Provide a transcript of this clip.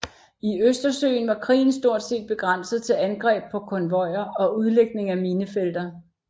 I Østersøen var krigen stort set begrænset til angreb på konvojer og udlægning af minefelter